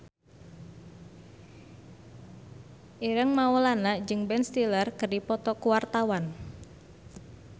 Ireng Maulana jeung Ben Stiller keur dipoto ku wartawan